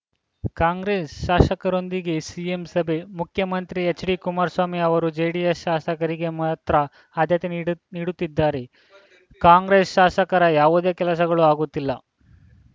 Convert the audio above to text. ಕಾಂಗ್ರೆಸ್‌ ಶಾಸಕರೊಂದಿಗೆ ಸಿಎಂ ಸಭೆ ಮುಖ್ಯಮಂತ್ರಿ ಎಚ್‌ಡಿ ಕುಮಾರಸ್ವಾಮಿ ಅವರು ಜೆಡಿಎಸ್‌ ಶಾಸಕರಿಗೆ ಮಾತ್ರ ಆದ್ಯತೆ ನೀಡ್ ನೀಡುತ್ತಿದ್ದಾರೆ ಕಾಂಗ್ರೆಸ್‌ ಶಾಸಕರ ಯಾವುದೇ ಕೆಲಸಗಳು ಆಗುತ್ತಿಲ್ಲ